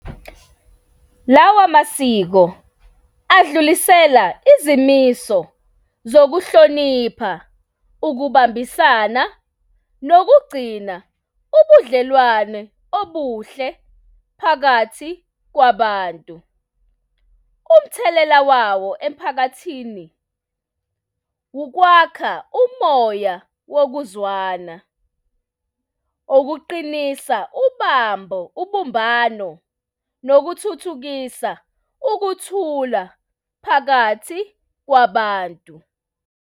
Lawa masiko adlulisela izimiso zokuhlonipha ukubambisana nokugcina ubudlelwane obuhle phakathi kwabantu. Umthelela wawo emphakathini ukwakha umoya wokuzwana, okuqinisa ubambo, ubumbano nokuthuthukisa ukuthula phakathi kwabantu.